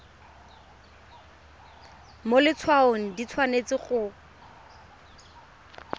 mo letshwaong di tshwanetse go